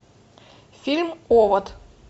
фильм овод